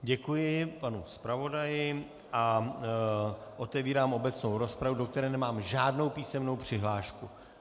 Děkuji panu zpravodaji a otevírám obecnou rozpravu, do které nemám žádnou písemnou přihlášku.